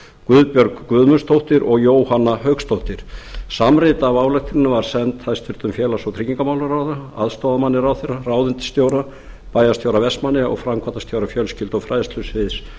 guðbjörg guðmundsdóttir og jóhanna hauksdóttir samrit af ályktuninni var send hæstvirtur félags og tryggingamálaráðherra aðstoðarmanni ráðherra ráðuneytisstjóra bæjarstjóra vestmannaeyja og framkvæmdastjóra fjölskyldu og fræðslusviðs